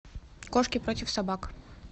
кошки против собак